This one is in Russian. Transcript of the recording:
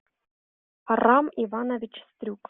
арам иванович стрюк